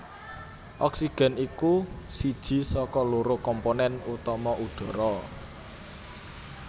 Oksigen iku siji saka loro komponen utama udhara